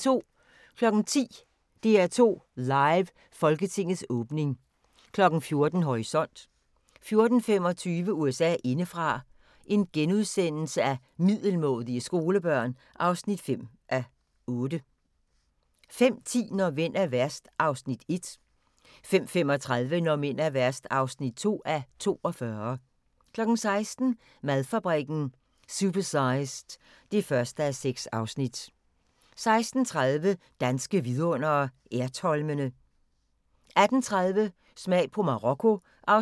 10:00: DR2 Live: Folketingets åbning 14:00: Horisont 14:25: USA indefra: Middelmådige skolebørn (5:8)* 15:10: Når mænd er værst (1:42) 15:35: Når mænd er værst (2:42) 16:00: Madfabrikken – Supersized (1:6) 16:30: Danske vidundere: Ertholmene 18:30: Smag på Marokko (6:16)